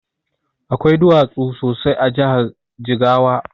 Akwai duwatsu sosai a jahar jigawa